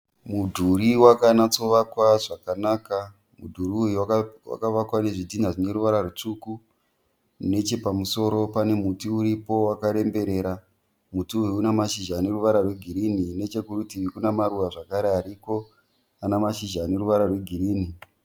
Mudhuri wakanyatsovakwa zvakanaka. Mudhuri uyu wakavakwa nezvidhinha zvine ruvara rwutsvuku nechepamusoro pane muti uripo wakaremberera. Muti uyu une mashizha ane ruvara rwegirini nechekurutivi kune maruva zvakare aripo ane mashizha ane ruvara rwegirini.